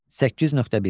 8.1.